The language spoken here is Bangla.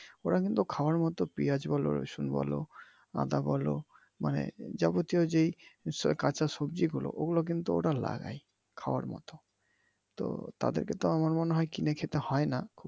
ওরা কিন্তু খাওয়ার মতো পেয়াজ বলো রসুন বলো আদা বলো মানে যাবতীয় যেই কাচা সবজি বলো ওইগুলো কিন্তু ওরা লাগায় খাওয়ার মত তো তাদেরকে তো আমার মনে হয় কিন্তু কিনে খেতে হয় না।